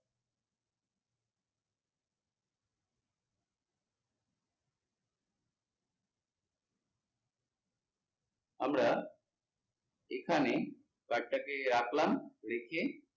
আমরা এখানে card টাকে রাখলাম রেখে